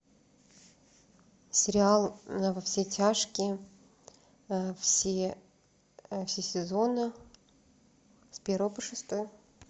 сериал во все тяжкие все сезоны с первого по шестой